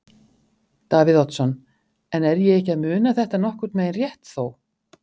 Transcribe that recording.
Davíð Oddsson: En er ég ekki að muna þetta nokkurn veginn rétt þó?